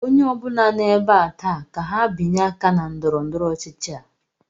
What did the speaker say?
Onye obula nọ ébé a taa ka ha binye àkà na ndọrọdọrọ ọchịchị a